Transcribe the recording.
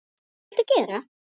Hvað viltu gera?